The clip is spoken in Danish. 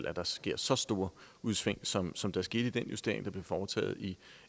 at der sker så store udsving som som der skete i den justering der blev foretaget i